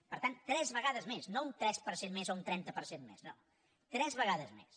per tant tres vegades més no un tres per cent més o un trenta per cent més no tres vegades més